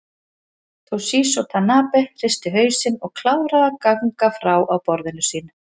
Toshizo Tanabe hristi hausinn og kláraði að gagna frá á borðinu sínu.